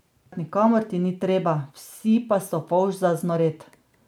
Nikamor ti ni treba, vsi pa so fouš za znoret.